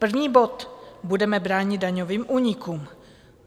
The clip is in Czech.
První bod - budeme bránit daňovým únikům.